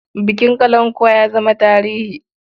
Bukin kalankuwa ya zama tarihi.